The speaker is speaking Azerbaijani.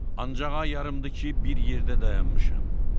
Ancaq o yarımdır ki, bir yerdə dayanmışam.